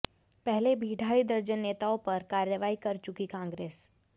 पहले भी ढाई दर्जन नेताओं पर कार्रवाई कर चुकी कांग्रेस